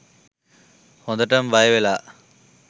හොඳටම බය වෙලා.